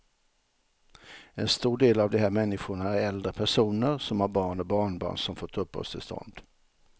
En stor del av de här människorna är äldre personer som har barn och barnbarn som fått uppehållstillstånd.